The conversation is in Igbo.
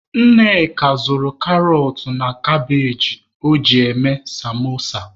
Nneka zụrụ karọt na kabage o ji eme samosa.